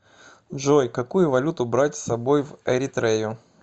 джой какую валюту брать с собой в эритрею